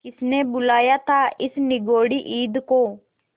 किसने बुलाया था इस निगौड़ी ईद को